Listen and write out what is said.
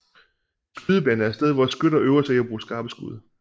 En skydebane er et sted hvor skytter øver sig i at bruge skarpe skud